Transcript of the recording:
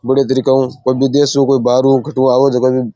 बढ़िया तरीकों है कोई बिदेशु कोई बहार उ आवा जगन --